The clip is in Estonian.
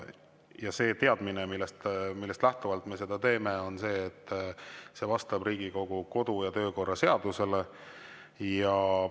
Ja see teadmine, millest lähtuvalt me seda teeme, on see, et see vastab Riigikogu kodu‑ ja töökorra seadusele.